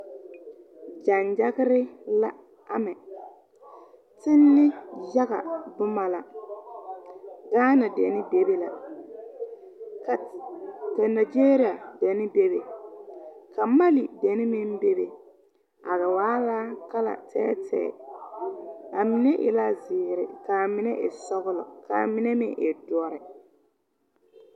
Gyaŋgyagre la amɛ are tenne yaga bomma la gaana dene bebe la ka nageeria dene bebe ka mali dene meŋ bebe a la waa la kala tɛɛtɛɛ a mine e la zeere kaa mine e sɔglɔ kaa mine meŋ e doɔre.